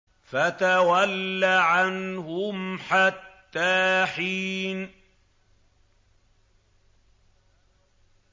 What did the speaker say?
فَتَوَلَّ عَنْهُمْ حَتَّىٰ حِينٍ